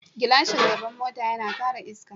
Gilashin gaba na mota yana kare iska.